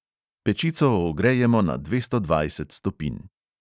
Pečico ogrejemo na dvesto dvajset stopinj.